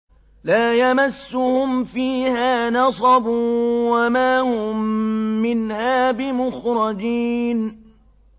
لَا يَمَسُّهُمْ فِيهَا نَصَبٌ وَمَا هُم مِّنْهَا بِمُخْرَجِينَ